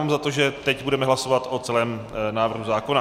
Mám za to, že teď budeme hlasovat o celém návrhu zákona.